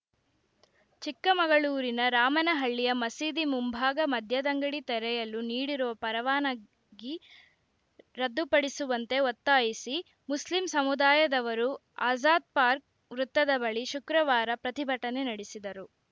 ಚಿಕ್ಕಮಗಳೂರಿನ ರಾಮನಹಳ್ಳಿಯ ಮಸೀದಿ ಮುಂಭಾಗ ಮದ್ಯದಂಗಡಿ ತೆರೆಯಲು ನೀಡಿರುವ ಪರವಾನಗಿ ರದ್ದುಪಡಿಸುವಂತೆ ಒತ್ತಾಯಿಸಿ ಮುಸ್ಲಿಂ ಸಮುದಾಯದವರು ಆಜಾದ್‌ ಪಾರ್ಕ್ ವೃತ್ತದ ಬಳಿ ಶುಕ್ರವಾರ ಪ್ರತಿಭಟನೆ ನಡೆಸಿದರು